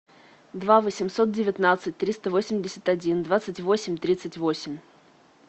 два восемьсот девятнадцать триста восемьдесят один двадцать восемь тридцать восемь